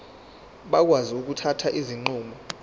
bakwazi ukuthatha izinqumo